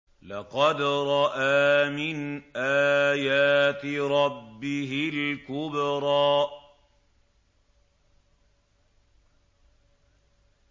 لَقَدْ رَأَىٰ مِنْ آيَاتِ رَبِّهِ الْكُبْرَىٰ